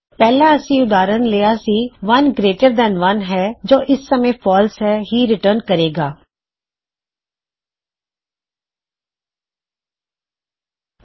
ਪਹਿਲਾ ਅਸੀਂ ਉਦਾਹਰਨ ਲਿਆ ਸੀ ਕੀ 1 ਗਰੇਇਟਰ ਦੈਨ 1 ਹੈ ਜੋ ਇਸ ਸਮੇ ਫਾਲਸ ਹੀ ਰਿਟਰਨ ਕਰੇ ਗਾ